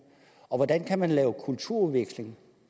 og hvordan kan man lave kulturudveksling